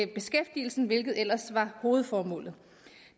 beskæftigelsen hvilket ellers var hovedformålet